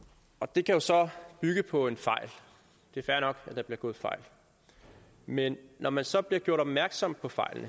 det kan jo så bygge på en fejl det er fair nok at der bliver begået fejl men når man så bliver gjort opmærksom på fejl